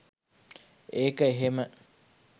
ඒක එහෙම